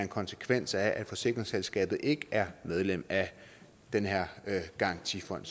konsekvens af at forsikringsselskabet ikke er medlem af den her garantifond